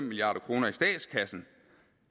milliard kroner i statskassen